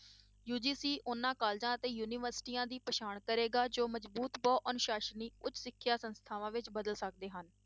UGC ਉਹਨਾਂ colleges ਅਤੇ ਯੂਨੀਵਰਸਟੀਆਂ ਦੀ ਪਛਾਣ ਕਰੇਗਾ ਜੋ ਮਜ਼ਬੂਤ ਬਹੁ ਅਨੁਸਾਸਨੀ ਉੱਚ ਸਿੱਖਿਆ ਸੰਸਥਾਵਾਂ ਵਿੱਚ ਬਦਲ ਸਕਦੇ ਹਨ।